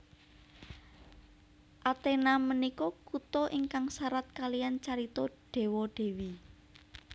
Athena menika kuto ingkang sarat kaliyan carito dewa dewi